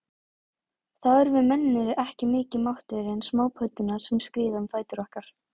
Þá erum við mennirnir ekki mikið máttugri en smápöddurnar, sem skríða um við fætur okkar.